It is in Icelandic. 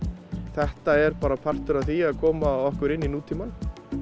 þetta er bara partur af því að koma okkur inn í nútímann